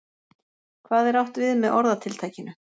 Hvað er átt við með orðatiltækinu?